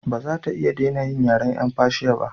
Ba za ta iya dena yin yaren yan fashiya ba